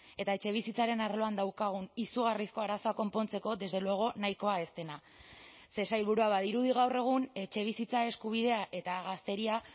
eta etxebizitzaren arloan daukagun izugarrizko arazoak konpontzeko desde luego nahikoa ez dena ze sailburua badirudi gaur egun etxebizitza eskubidea eta gazteria